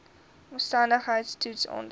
omstandigheids toets aandui